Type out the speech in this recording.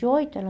e oito. Ela